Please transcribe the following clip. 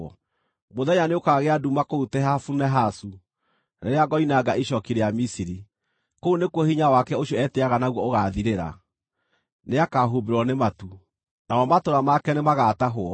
Mũthenya nĩũkagĩa nduma kũu Tehafunehasu rĩrĩa ngoinanga icooki rĩa Misiri; kũu nĩkuo hinya wake ũcio etĩĩaga naguo ũgaathirĩra. Nĩakahumbĩrwo nĩ matu, namo matũũra make nĩmagatahwo.